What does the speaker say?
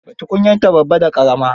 Tukunyarta babba da ƙarama.